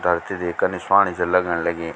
धरती देख कनी स्वाणी च लगण लगीं।